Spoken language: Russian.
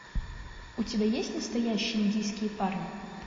у тебя есть настоящие индийские парни